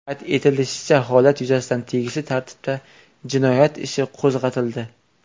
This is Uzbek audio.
Qayd etilishicha, holat yuzasidan tegishli tartibda jinoyat ishi qo‘zg‘atildi.